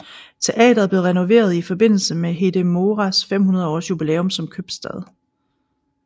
Teateret blev renoveret i forbindelse med Hedemoras 500 års jubilæum som købstad